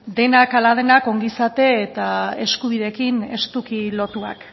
denak ongizate eta eskubideekin estuki lotuak